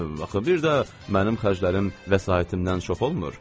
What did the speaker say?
Axı bir də mənim xərclərim vəsaitimdən çox olmur.